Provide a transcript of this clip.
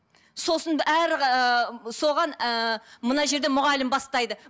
сосын әр ііі соған ііі мына жерде мұғалім бастайды